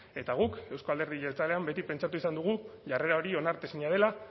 eta guk euzko alderdi jeltzalean beti pentsatu izan dugu jarrera hori onartezina dela